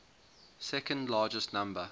second largest number